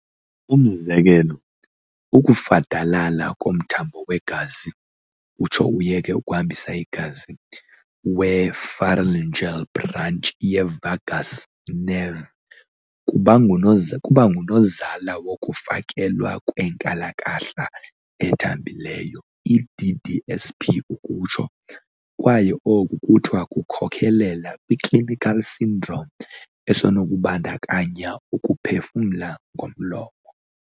Umzekelo, ukufadalala komthambo wegazi, utsho uyeke ukuhambisa igazi, we-pharyngeal branch ye-vagus nerve kubangunozala wokufakelwa kwe-nkalakahla ethambileyo, DDSP, kwaye oku kuthiwa kukhokhelela kwi-clinical syndrome esenokubandakanya ukuphefumla ngomlomo.